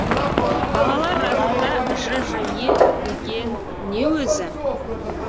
балалар расында жже деген не өзі